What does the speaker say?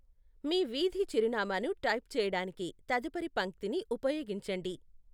మీ వీధి చిరునామాను టైప్ చేయడానికి తదుపరి పంక్తిని ఉపయోగించండి.